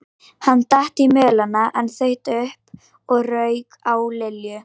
Hann datt í mölina en þaut upp og rauk á Lillu.